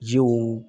Jiw